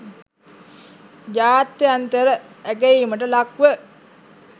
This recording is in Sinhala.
ජාත්‍යන්තර ඇගයීමට ලක්ව